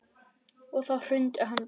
Og þá hrundi hann bara.